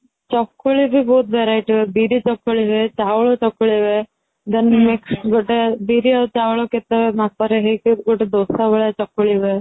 ଚକୁଳି ବି ବହୁତ variety ର ବିରି ଚକୁଳି ହୁଏ ଚାଉଳ ଚକୁଳି ହୁଏ then mix ଗିତେ ବିରି ଆଉ ଚାଉଳ କେତେ ମାପରେ ହେଇକି ଗିତେ ଦୋସା ଭଳିଆ ଚକୁଳି ହୁଏ